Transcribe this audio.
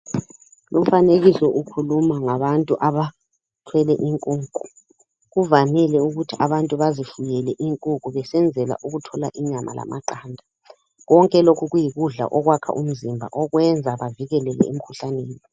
Lumfanekiso ukhuluma ngabantu abathwele inkukhu .Kuvamile ukuthi abantu bazifuyele inkukhu besenzela ukuthola inyama lamaqanda .Konke lokhu kuyikudla okwakha umzimba okwenza bavikeleke emkhuhlaneni.